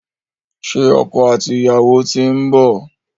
Ṣé ọkọ àti ìyàwó ti ń bọ̀?